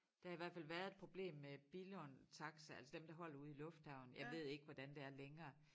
Der har i hvert fald været et problem med Billund Taxi altså dem der holder ude i lufthavnen jeg ved ikke hvordan det er længere